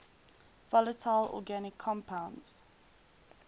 volatile organic compounds